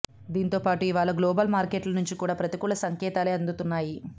దీంతోపాటు ఇవాళ గ్లోబల్ మార్కెట్ల నుంచి కూడా ప్రతికూల సంకేతాలే అందుతున్నాయి